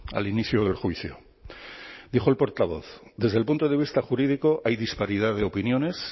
al inicio del juicio dijo el portavoz desde el punto de vista jurídico hay disparidad de opiniones